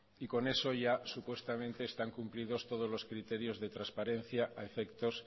y con eso ya supuestamente están cumplidos todos los criterios de transparencia a efectos